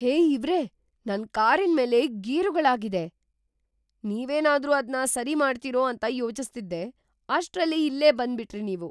ಹೇ ಇವ್ರೇ! ನನ್ ಕಾರಿನ್ಮೇಲೆ ಗೀರುಗಳಾಗಿದೆ, ನೀವೇನಾದ್ರೂ ಅದ್ನ ಸರಿ ಮಾಡ್ತೀರೋ ಅಂತ ಯೋಚಿಸ್ತಿದ್ದೆ. ಅಷ್ಟ್ರಲ್ಲಿ ಇಲ್ಲೇ ಬಂದ್ಬಿಟ್ರಿ ನೀವು!